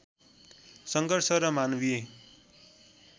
सङ्घर्ष र मानवीय